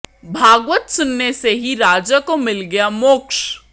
भागवत सुनने से ही राजा को मिल गया मोक्ष